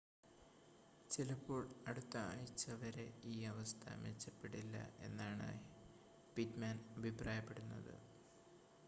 ചിലപ്പോൾ അടുത്ത ആഴ്ച്ച വരെ ഈ അവസ്ഥ മെച്ചപ്പെടില്ല എന്നാണ് പിറ്റ്മാൻ അഭിപ്രായപ്പെടുന്നത്